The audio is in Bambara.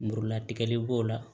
Muru latigɛli b'o la